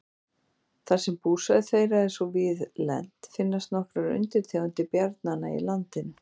þar sem búsvæði þeirra er svo víðlent finnast nokkrar undirtegundir bjarnanna í landinu